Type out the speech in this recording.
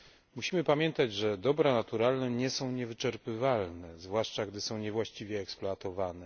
Musimy pamiętać, że dobra naturalne nie są niewyczerpywalne, zwłaszcza gdy są niewłaściwie eksploatowane.